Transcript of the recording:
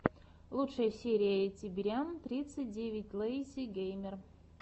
лучшая серия тибериан тридцать девять лэйзи геймер